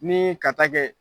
Ni ka taa kɛ